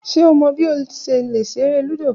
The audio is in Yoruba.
Ṣe o mọ bi o ṣe le ṣere ludo?